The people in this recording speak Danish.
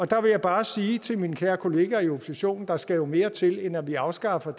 der vil jeg bare sige til mine kære kollegaer i oppositionen der skal jo mere til end at vi afskaffer